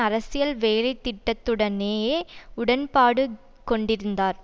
அரசியல் வேலைத்திட்டத்துடனேயே உடன்பாடுகொண்டிருந்தார்